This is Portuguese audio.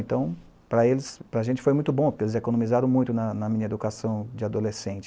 Então, para eles, para a gente foi muito bom, porque eles economizaram muito na na minha educação de adolescente.